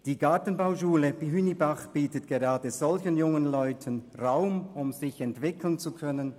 Die Gartenbauschule Hünibach bietet gerade solchen jungen Leuten Raum, um sich entwickeln zu können.